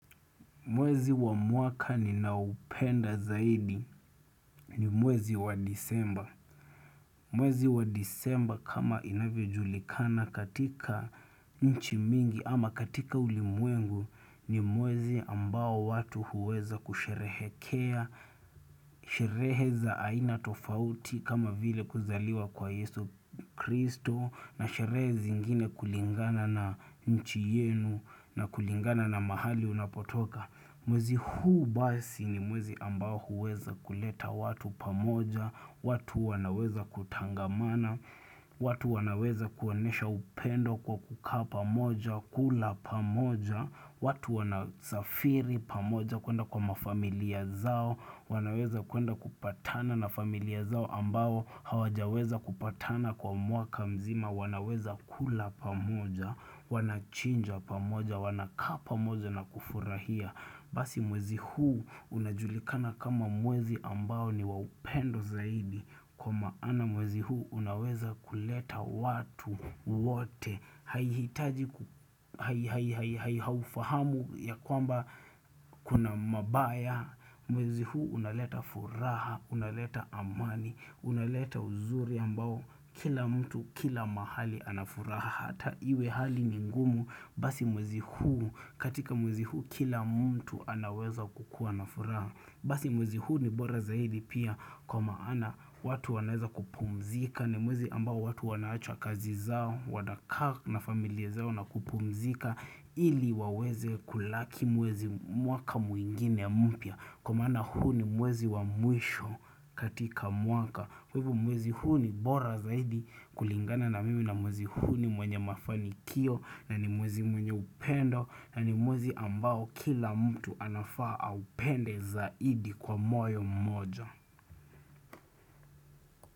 Mwezi wa mwaka ninaoupenda zaidi ni mwezi wa disemba. Mwezi wa disemba kama inavyo julikana katika nchi mingi ama katika ulimwengu ni mwezi ambao watu huweza kusherehekea, sherehe za aina tofauti kama vile kuzaliwa kwa yesu kristo na sherehe zingine kulingana na nchi yenu na kulingana na mahali unapotoka. Mwezi huu basi ni mwezi ambao huweza kuleta watu pamoja, watu wanaweza kutangamana, watu wanaweza kuonesha upendo kwa kukaa pamoja, kula pamoja, watu wanasafiri pamoja kuenda kwa mafamilia zao, wanaweza kuenda kupatana na familia zao ambao hawajaweza kupatana kwa mwaka mzima, wanaweza kula pamoja, wanachinja pamoja, wanakaa pamoja na kufurahia. Basi mwezi huu unajulikana kama mwezi ambao niwaupendo zaidi Kwa maana mwezi huu unaweza kuleta watu wote Haihitaji haufahamu ya kwamba kuna mabaya Mwezi huu unaleta furaha, unaleta amani, unaleta uzuri ambao Kila mtu, kila mahali anafuraha hata iwe hali ni ngumu Basi mwezi huu katika mwezi huu kila mtu anaweza kukua na furaha Basi mwezi huu ni bora zaidi pia kwa maana watu wanaweza kupumzika ni mwezi ambao watu wanaacha kazi zao, wanakaa na familia zao na kupumzika ili waweze kulaki mwezi mwaka mwingine mpya Kwa maana huu ni mwezi wa mwisho katika mwaka Kwa hivo mwezi huu ni bora zaidi kulingana na mimi na mwezi huu ni mwenye mafanikio na ni mwezi mwenye upendo na ni mwezi ambao kila mtu anafaa aupende zaidi kwa moyo mmoja.